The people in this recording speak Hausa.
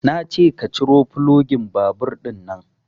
Nace ka ciro fulogin babur ɗinnan